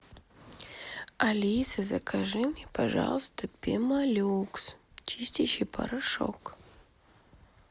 алиса закажи мне пожалуйста пемолюкс чистящий порошок